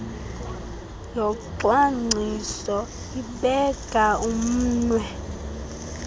yocwangciso ibeka umnwe